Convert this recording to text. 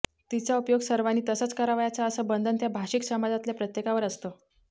तिचा उपयोग सर्वानी तसाच करावयाचा असं बंधन त्या भाषिक समाजातल्या प्रत्येकावर असतं